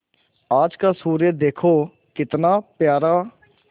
आज का सूर्य देखो कितना प्यारा